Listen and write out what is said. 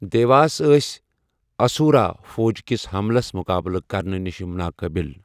دیواس ٲسۍ اسورا فوج کِس حملس مقابلہٕ کرنہٕ نِش ناقٲبِل۔